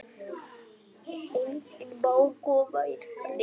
Hreyfir sig enginn?